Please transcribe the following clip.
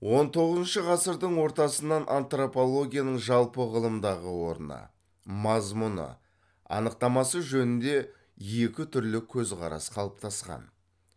он тоғызыншы ғасырдың ортасынан антропологияның жалпы ғылымдағы орны мазмұны анықтамасы жөнінде екі түрлі көзқарас қалыптасқан